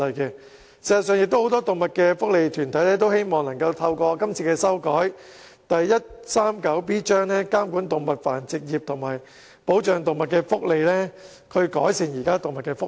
事實上，很多動物福利團體都希望透過修改香港法例第 139B 章，監管動物繁殖業及保障動物福利，以改善動物的福利。